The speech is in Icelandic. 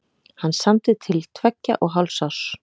Hann samdi til tveggja og hálfs árs.